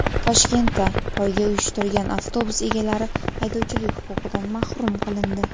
Toshkentda poyga uyushtirgan avtobus egalari haydovchilik huquqidan mahrum qilindi.